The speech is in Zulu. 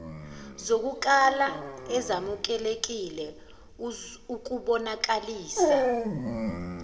zokukala ezamukelekile ukubonakalisa